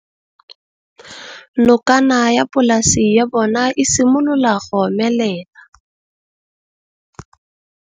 Nokana ya polase ya bona, e simolola go omelela.